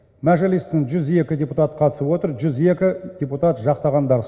мәжілістің жүз екі депутат қатысып отыр жүз екі депутат жақтағандар